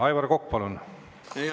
Aivar Kokk, palun!